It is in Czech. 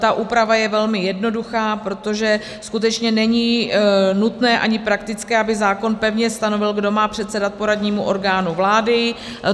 Ta úprava je velmi jednoduchá, protože skutečně není nutné ani praktické, aby zákon pevně stanovil, kdo má předsedat poradnímu orgánu vlády.